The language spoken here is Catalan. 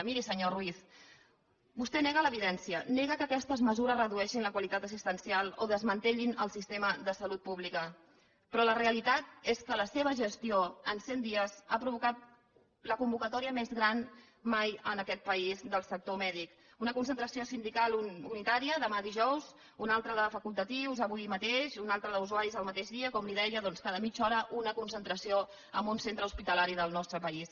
miri senyor ruiz vostè nega l’evidència nega que aquestes mesures redueixin la qualitat assistencial o desmantellin el sistema de salut pública però la realitat és que la seva gestió en cent dies ha provocat la convocatòria més gran mai en aquest país del sector mèdic una concentració sindical unitària demà dijous una altra de facultatius avui mateix una altra d’usuaris el mateix dia com li deia doncs cada mitja hora una concentració en un centre hospitalari del nostre país